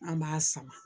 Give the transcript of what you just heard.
An b'a sama